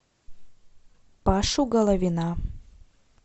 пашу головина